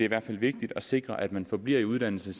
hvert fald vigtigt at sikre at man forbliver i uddannelse